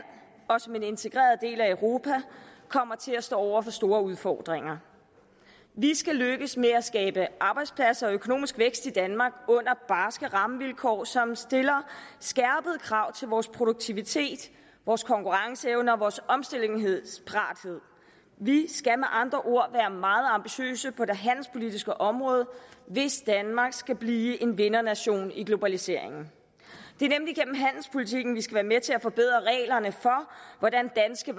og som en integreret del af europa kommer til at stå over for store udfordringer vi skal lykkes med at skabe arbejdspladser og økonomisk vækst i danmark under barske rammevilkår som stiller skærpede krav til vores produktivitet vores konkurrenceevne og vores omstillingsparathed vi skal med andre ord være meget ambitiøse på det handelspolitiske område hvis danmark skal blive en vindernation i globaliseringen det er nemlig gennem handelspolitikken vi skal være med til at forbedre reglerne for hvordan danske